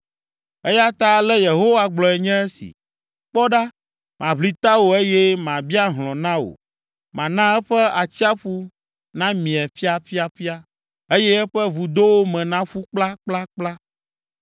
Eya ta ale Yehowa gblɔe nye esi: “Kpɔ ɖa, maʋli tawò eye mabia hlɔ̃ na wò. Mana eƒe atsiaƒu namie ƒiaƒiaƒia eye eƒe vudowo me naƒu kplakplakpla.